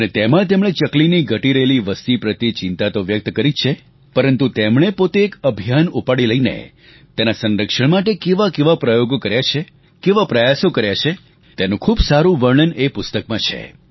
અને તેમાં એમણે ચકલીની ઘટી રહેલી વસતી પ્રત્યે ચિંતા તો વ્યક્ત કરી છે જ પરંતુ તેમણે પોતે એક અભિયાન ઉપાડી લઈને તેના સંરક્ષણ માટે કેવા કેવા પ્રયોગો કર્યા છે કેવા પ્રયાસો કર્યા છે તેનું ખૂબ સારું વર્ણન એ પુસ્તકમાં છે